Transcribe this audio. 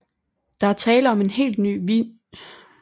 Der er tale om en helt ny vingesektion